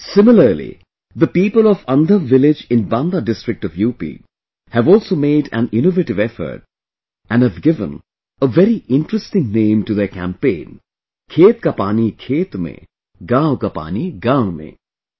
similarly the people of Andhav village in Banda district of UP have also made an innovative effort and have given a very interesting name to their campaign 'Khet ka pani khet mein, gaon ka panigaonmein'